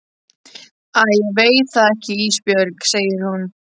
Æ ég veit það ekki Ísbjörg, segir hún.